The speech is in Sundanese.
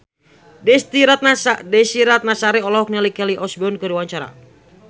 Desy Ratnasari olohok ningali Kelly Osbourne keur diwawancara